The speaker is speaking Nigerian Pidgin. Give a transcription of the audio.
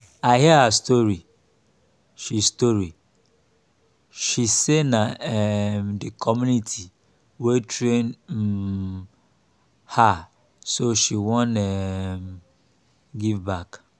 i hear her story. she story. she talk say na um the community wey train um her so she wan um give back